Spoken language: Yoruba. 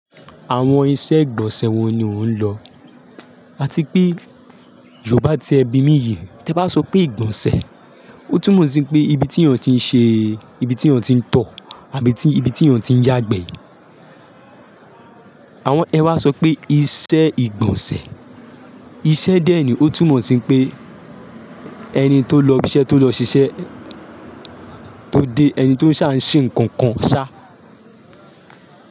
Àwọn iṣẹ́ ìgbọ̀nsẹ̀ wọn ni ó ń lọ. Áti pé Yorùbá ti ẹ bí mí yìí, tí ẹ bá sọ pé ìgbọ̀nsẹ̀, ó túmọ̀ sí pé ibi tí èèyàn tí ń ṣe, ibi tí èèyàn tí ń tọ̀ àbí ibi tí èèyàn tí ń yàgbẹ́. Àwọn ẹ wa sọ pé iṣẹ́ ìgbọ̀nsẹ̀. Iṣẹ́ dẹ́ ní ó túmọ̀ sí n pé ẹni tó lọ ibi iṣẹ́, tó lọ ṣiṣẹ́, tó dé, ẹni tó ń sá ń ṣe ǹkankan ṣá.